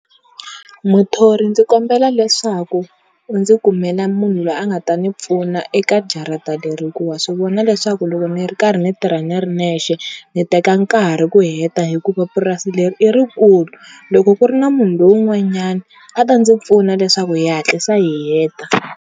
Muthori ndzi kombela leswaku u ndzi kumela munhu la nga ta ni pfuna eka jarata leri hikuva wa swi vona leswaku loko ni ri karhi ni tirha ni ri nexe ni teka nkarhi ku heta hikuva puasi leri i rikulu, loko ku ri na munhu lowun'wanyana a ta ndzi pfuna leswaku hi hatlisa hi heta.